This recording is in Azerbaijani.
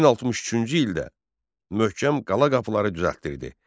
1063-cü ildə möhkəm qala qapıları düzəltdirdi.